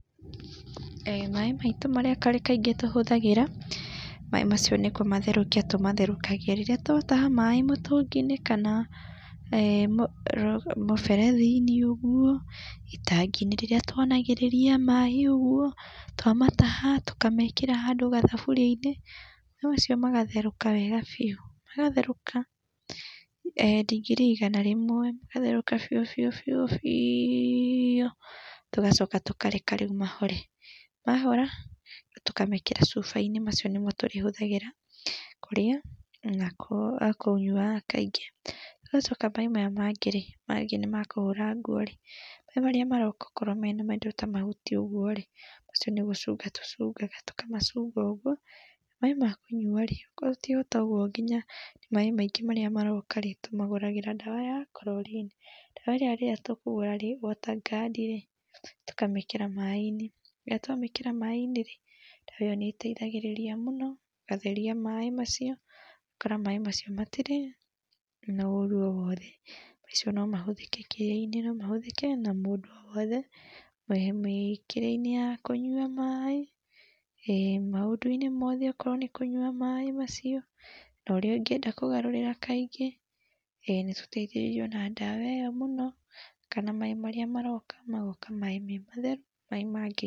Maĩ maitũ marĩa kaĩngĩ tũhũthagĩra, maĩ macio nĩkũmatherũkia tũmatherũkagia rĩrĩa twataha maĩ mũtũngĩ-inĩ kana mũberethi-inĩ ũguo, itangi-inĩ rĩrĩa twanagĩrĩria maĩ ũguo, twamataha tũkamekĩra handũ gathaburia-inĩ maĩ macio magatherũka wega biũ, magatherũka ndigiri igana rĩmwe magatherũka biũ biũ biũ tũgacoka tũkareka rĩu mahore. Mahora rĩu tũkamekĩra cuba-inĩ macio nĩmo tũrĩhuthagĩra kũrĩa na kũnyua kaĩngĩ tũgacoka maĩ maya mangĩ-rĩ mangĩ nĩ ma kũhũra nguo, maĩ marĩa maroka okorwo mena maindo ta mahuti ũguo rĩ macio nĩ gũcũnga tũcũngaga tũ tũkamacunga ũguo. Maĩ ma kũnyua-rĩ okorwo ti ũguo nginya maĩ maíĩgĩ marĩa maroka-rĩ tũmagũragĩra ndawa ya chlorine ndawa ĩrĩa rĩrĩa tũkũgũra rĩ waterguard rĩ tũkamĩkĩra maĩ-inĩ, rĩrĩa twamĩkĩra maĩ-inĩ rĩ ndawa ĩyo nĩ ĩteithagĩrĩria mũno gũtheria maĩ macio ũgakora maĩ macio matirĩ na ũru o wothe. Macio no mahũthĩke kĩrĩa-inĩ no mahũthĩke na mũndũ o wothe mĩkĩre-inĩ ya kũnyua maĩ, maũndũ-inĩ mothe okorwo nĩ kũnyua maĩ macio na ũrĩa ũngĩenda kũgarũrĩra kaĩngĩ nĩtũteithĩrĩirio na ndawa ĩyo mũno kana maĩ marĩa maroka magoka maĩ me matheru , maĩ...